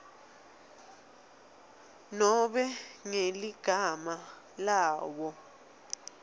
nobe ngeligama lawo